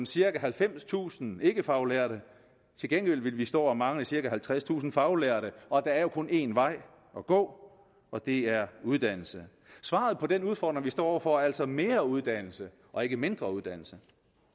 cirka halvfemstusind ikkefaglærte til gengæld vil vi stå og mangle cirka halvtredstusind faglærte og der er jo kun en vej at gå og det er uddannelse svaret på den udfordring vi står over for er altså mere uddannelse og ikke mindre uddannelse